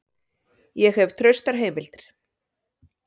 Ég hef traustar heimildir.